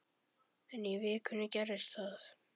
En í vikunni gerðist það.